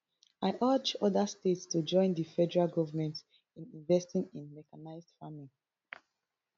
i urge oda states to join di federal government in investing in mechanised farming